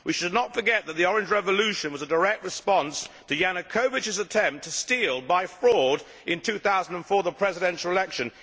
We should not forget that the Orange Revolution was a direct response to Yanukovych's attempt to steal, by fraud, in 2004 the Presidential election.